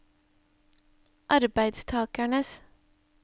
arbeidstakernes